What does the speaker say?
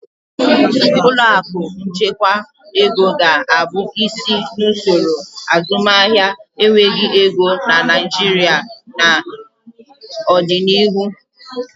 Ụlọ akụ nchekwa ego ga-abụ isi n'usoro azụmahịa enweghị ego na Naịjirịa n'ọdịnihu.